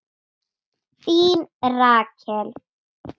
Þín Rakel.